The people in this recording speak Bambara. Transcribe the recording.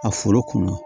A foro kɔnɔ